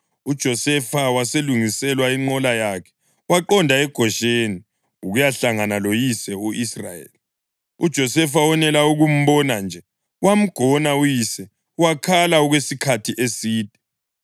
uJosefa walungiselwa inqola yakhe waqonda eGosheni ukuyahlangana loyise u-Israyeli. UJosefa wonela ukumbona nje, wamgona uyise, wakhala okwesikhathi eside.